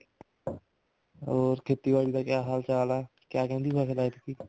ਹੋਰ ਖੇਤੀਬਾੜੀ ਦਾ ਕਿਆ ਹਾਲ ਚਾਲ ਹੈ ਕਿਆ ਕਹਿੰਦੀ ਫਸਲ ਐਤਕੀ